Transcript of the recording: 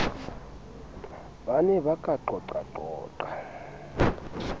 ba ne ba ka qoqaqoqa